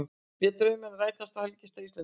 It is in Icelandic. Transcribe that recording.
Létu drauminn rætast á helgistað Íslendinga